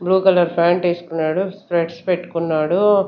Blue colour pant ఏస్కున్నాడు specs పెట్టుకున్నాడు.